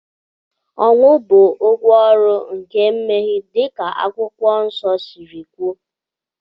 Ọnwụ bụ ụgwọ ọrụ nke mmehie, dịka Akwụkwọ Nsọ siri kwuo